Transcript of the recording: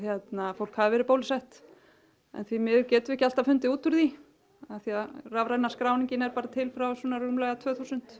fólk hafi verið bólusett en því miður getum við ekki alltaf fundið út úr því af því að rafræna skráningin er bara til frá svona rúmlega tvö þúsund